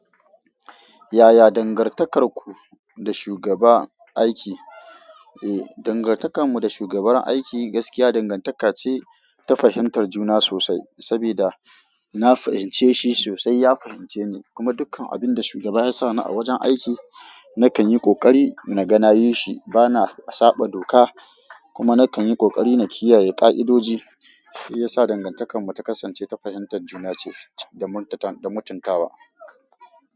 Yaya dangantakarku da shugaba aiki? Eh, dangantakarmu da shugaban aiki gaskiya dangantaka ce ta fahimtar juna sosai. Saboda na fahimce shi sosai, ya fahimce ni kuma dukkan abin da shugaba ya sa ni a wajen aiki nakan yi ƙoƙari naga na yishi. Bana saɓa doka kuma nakan yi ƙoƙari na kiyaye ƙa'idoji. Ya sa dangantakar mu ta kasance ta fahimtar juna ce da mutuntawa.